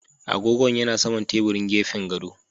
Agogon ya na saman teburin gefen gado.